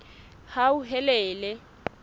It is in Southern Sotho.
hauhelele